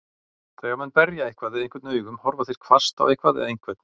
Þegar menn berja eitthvað eða einhvern augum, horfa þeir hvasst á eitthvað eða einhvern.